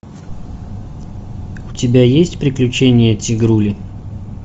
у тебя есть приключения тигрули